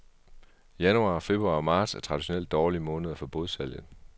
Januar, februar og marts er traditionelt dårlige måneder for bådsalget.